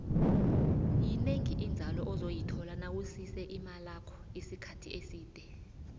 yinengi inzalo ozoyithola nawusise imalakho isikhathi eside